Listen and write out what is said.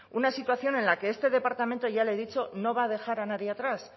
una situación en la que este departamento ya le he dicho no va a dejar a nadie atrás